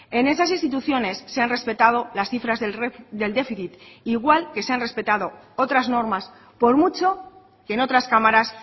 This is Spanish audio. en esas instituciones se han respetado las cifras del déficit igual que se han respetado otras normas por mucho que en otras cámaras